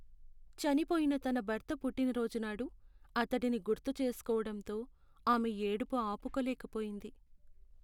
చనిపోయిన తన భర్త పుట్టినరోజునాడు అతడిని గుర్తుచేసుకోవడంతో ఆమె ఏడుపు ఆపులేకపోయింది.